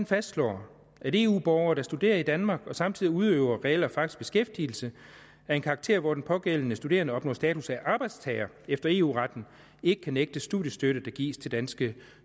fastslår at eu borgere der studerer i danmark og samtidig udøver reel og faktisk beskæftigelse af en karakter hvor de pågældende studerende opnår status af arbejdstagere efter eu retten ikke kan nægtes studiestøtte der gives til danske